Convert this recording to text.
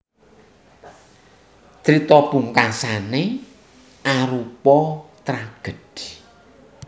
Crita pungkasané arupa tragèdhi